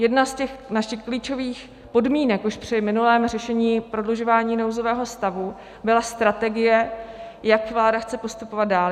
Jedna z těch našich klíčových podmínek už při minulém řešení prodlužování nouzového stavu byla strategie, jak vláda chce postupovat dál.